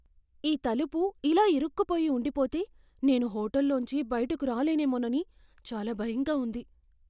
ఈ తలుపు ఇలా ఇరుక్కుపోయి ఉండిపోతే నేను హోటల్ లోంచి బయటకు రాలేనేమోనని చాలా భయంగా ఉంది.